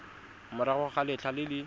morago ga letlha le le